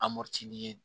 ye